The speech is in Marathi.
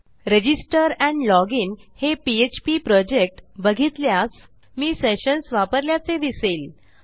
रजिस्टर एंड लॉजिन हे पीएचपी प्रॉजेक्ट बघितल्यास मी सेशन्स वापरल्याचे दिसेल